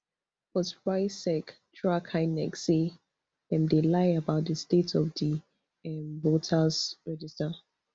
but rsiec drag inec say dem dey lie about di state of di um voters register